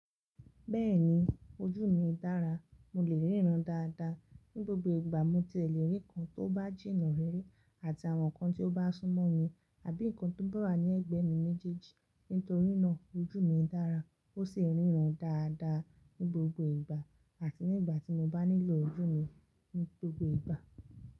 Bẹ́ẹ̀ni ojú mi dára, mo lè ríran dáadáa ní gbogbo ìgbà mo ti lè rí nǹkan tó bá jìnnà rí rí àti àwọn nǹkan tí ó bá sún mọ́ mi àbí nǹkan tó bá wà ní ẹ̀gbẹ́ mi ní jijì. Nítorí náà ojú mi dára, ó sì ń ríran dáadáa ní gbogbo ìgbà àti nígbà tí mo bá nílò ojú mi ní gbogbo ìgbà.